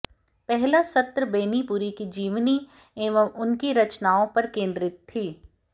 पहला सत्र बेनीपुरी की जीवनी एवं उनकी रचनाओं पर केंद्रित थी